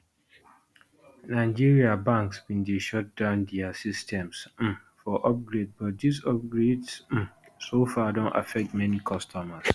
nigeria banks bin dey shut down dia systems um for upgrade but dis upgrades um so far don affect many customers